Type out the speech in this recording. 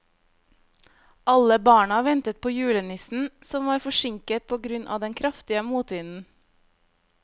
Alle barna ventet på julenissen, som var forsinket på grunn av den kraftige motvinden.